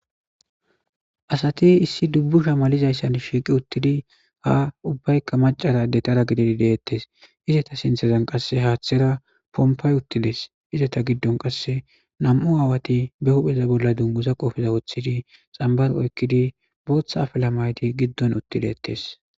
Asate issi dubbu shamalizayssan shiiqi uttidi ha ubbaykka macarade tara gididi deettes izeta sinthezan qasse haaththera pompay uttiles izeta giddon qasse nam'u aawati be hupheza bolla dungusa qofiza woththidi xambar oykkidi booththa afela mayti giddon uttideettes.